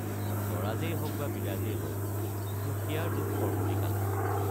স্বৰাজেই হওক বা বিৰাজেই হওকদুখীয়াৰ দুখ সৰ্বতিকালে।